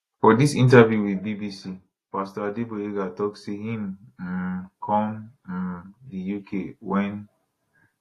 for dis interview wit bbc pastor adegboyega tok say im um come um di uk wen